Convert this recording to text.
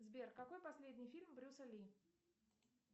сбер какой последний фильм брюса ли